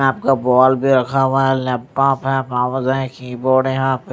आपका बॉल भी रखा हुआ है लैपटॉप है माउस है की बोर्ड है यहां पे--